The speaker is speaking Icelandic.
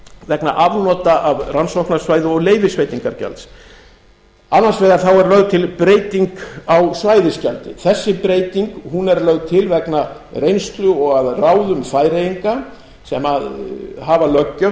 vegna afnota af rannsóknarsvæði og leyfisveitingargjalds annars vegar þá er lögð til breyting á svæðisgjaldi þessi breyting er lögð til vegna reynslu og að ráðum færeyinga sem hafa löggjöf